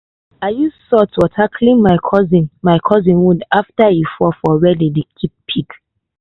i use salt water clean my cousin my cousin wound after e fall for where we dey keep pig